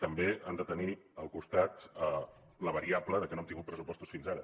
també han de tenir al costat la variable que no hem tingut pressupostos fins ara